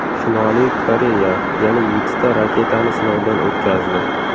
Shimoliy Koreya yana yettita raketani sinovdan o‘tkazdi.